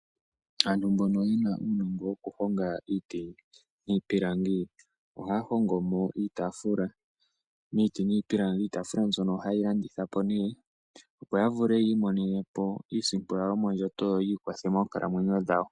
Aantu mbono ye na uunongo wokuhonga iiti niipilangi ohaya hongo mo iitaafula. Iitaafula mbyoka ohaye yi landitha po nduno, opo ya vule yi imonene po iisimpo yawo yomondjato, opo ya vule oku ikwatha moonkalamwenyo dhawo.